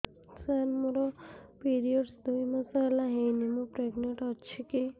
ସାର ମୋର ପିରୀଅଡ଼ସ ଦୁଇ ମାସ ହେଲା ହେଇନି ମୁ ପ୍ରେଗନାଂଟ ଅଛି କି